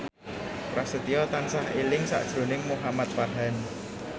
Prasetyo tansah eling sakjroning Muhamad Farhan